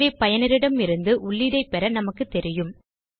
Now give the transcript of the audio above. எனவே பயனரிடமிருந்து உள்ளீடைப் பெற நமக்கு தெரியும்